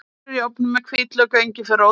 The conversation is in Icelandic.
Kartöflur í ofni með hvítlauk og engiferrót